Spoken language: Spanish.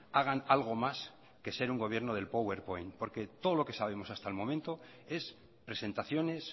hagan algo más que ser un gobierno del powerpoint porque todo lo que sabemos hasta el momento es presentaciones